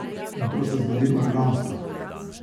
In to se zgodi organsko.